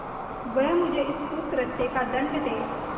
वह मुझे इस कुकृत्य का दंड दे